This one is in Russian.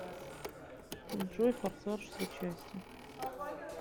джой форсаж все части